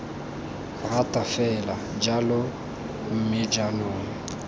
rata fela jalo mme jaanong